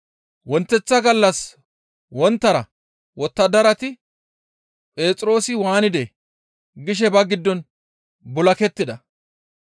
Wonteththa gallas wonttara wottadarati, «Phexroosi waanidee?» gishe ba giddon bul7akettida.